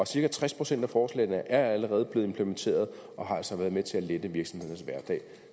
cirka tres procent af forslagene er allerede blevet implementeret og har altså været med til at lette virksomhedernes hverdag